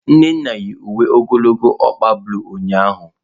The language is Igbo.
Nnanna yi uwe ogologo ọkpa bulu ụnyahụ.